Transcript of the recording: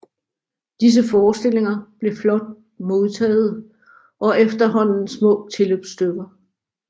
Disse forestillinger blev flot modtagede og blev efterhånden små tilløbsstykker